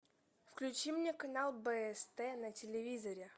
включи мне канал бст на телевизоре